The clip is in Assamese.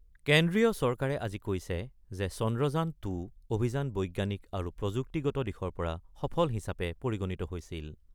কেন্দ্ৰীয় চৰকাৰে আজি কৈছে যে চন্দ্ৰযান-২ অভিযান বৈজ্ঞানিক আৰু প্ৰযুক্তিগত দিশৰ পৰা সফল হিচাপে পৰিগণিত হৈছিল।